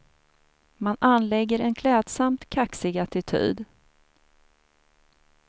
Man anlägger en klädsamt kaxig attityd.